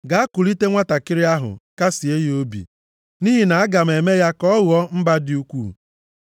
Gaa kulite nwantakịrị ahụ kasịe ya obi, nʼihi na aga m eme ya ka ọ ghọọ mba dị ukwuu.”